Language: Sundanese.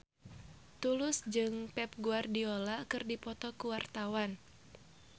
Tulus jeung Pep Guardiola keur dipoto ku wartawan